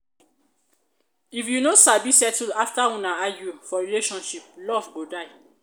if you no sabi settle after una argue for relationship love go die